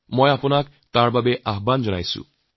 মই আপোনালোক আমন্ত্রণ জনাইছোঁ